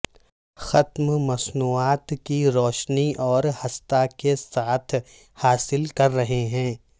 ختم مصنوعات کی روشنی اور ھستا کے ساتھ حاصل کر رہے ہیں